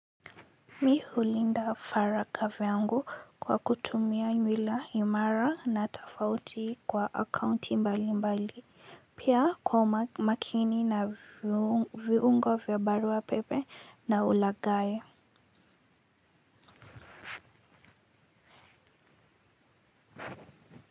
Mi hulinda faraga vyangu kwa kutumia nywila imara na tofauti kwa akaunti mbali mbali pia kwa makini na viungo vyabarua pepe na ulagayi.